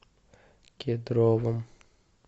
кедровом